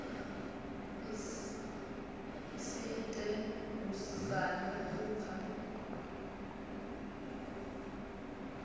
si ite lisani u pfa